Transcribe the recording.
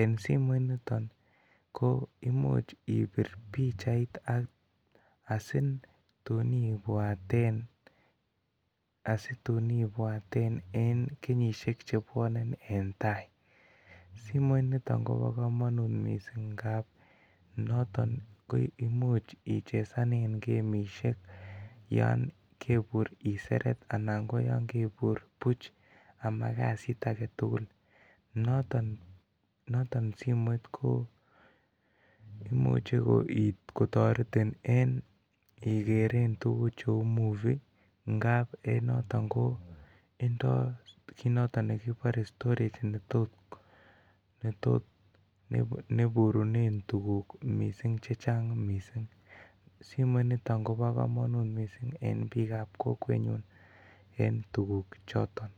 en simoit niton koimuch ibir pichait asitun ibwaten en kenyniahek chiton en taisimiit niton Kobo komonut mising ngab noton imuch ichesanen gemitiek yon kebue iseret Alan KO yon kebur Buch fkimiten gaav 😌notonga imuche kotoret pple korotortin kiiger tuguk cheu tuhu n by indii notot koburune tuguk missing chechang middinhsimoit nito simok mising en en betkokqwwtukkmhk no hi hi ken